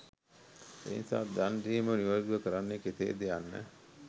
මේ නිසා දන් දීම නිවැරැදිව කරන්නේ කෙසේද යන්න